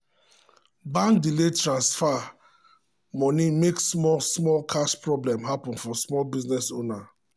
bank delay transfer moni make small small cash problem happen for small business owner.